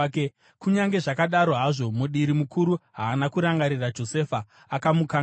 Kunyange zvakadaro hazvo, mudiri mukuru haana kurangarira Josefa; akamukanganwa.